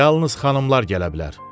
Yalnız xanımlar gələ bilər.